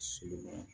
Siman